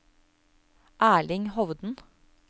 Erling Hovden